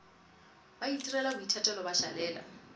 ba itirela boithatelo ba šalela